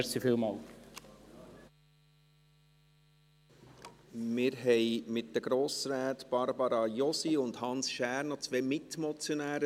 Wir haben mit den Grossräten Barbara Josi und Hans Schär noch zwei Mitmotionäre.